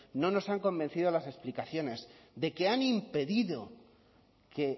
no nos han convencido las explicaciones de que han impedido que